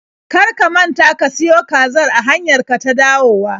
Kar ka manta ka siyo kazar a hanyar ka ta dawowa!